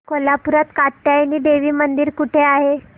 कोल्हापूरात कात्यायनी देवी मंदिर कुठे आहे